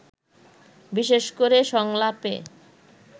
বিশেষ করে সংলাপে